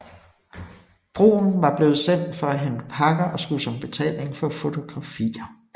Bruhn var blevet sendt for at hente pakker og skulle som betaling få fotografier